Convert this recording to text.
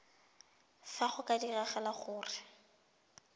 fa go ka diragala gore